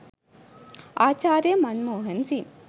ආචාර්ය මන් මෝහන් සිං